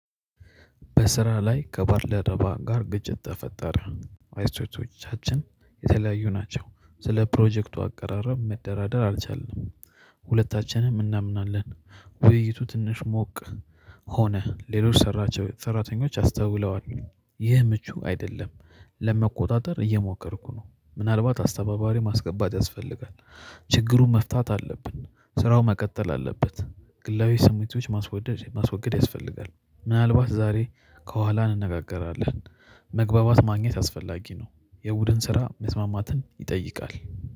በስራ ላይ ከባልደረባ ጋር ግጭት ተፈጠረ። አስተያየቶቻችን የተለያዩ ናቸው። ስለ ፕሮጀክቱ አቀራረብ መደራደር አልቻልንም። ሁለታችንም እናምናለን ውይይቱ ትንሽ ሞቅ ሆነ። ሌሎች ሰራተኞች አስተውለዋል። ይህ ምቹ አይደለም። ለመቆጣጠር እየሞከርኩ ነው ምናልባት አስተባባሪ ማስገባት ያስፈልጋል። ችግሩን መፍታት አለብን ስራው መቀጠል አለበት። ግላዊ ስሜቶች ማስወገድ ማስወገድ ያስፈልጋል። ምናልባት ዛሬ ከኋላ እንነጋገራለን። መግባባት ማግኘት አስፈላጊ ነው። የቡድን ስራ መስማማትን ይጠይቃል